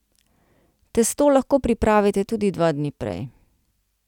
Testo lahko pripravite tudi dva dni prej.